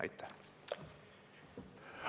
Aitäh!